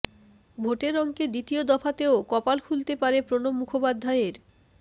ভোটের অঙ্কে দ্বিতীয় দফাতেও কপাল খুলতে পারে প্রণব মুখোপাধ্যায়ের